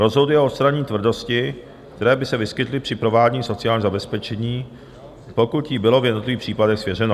rozhoduje o odstranění tvrdostí, které by se vyskytly při provádění sociálního zabezpečení, pokud jí bylo v jednotlivých případech svěřeno.